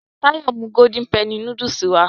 Táyọ̀ mú golden penny núdúsì wá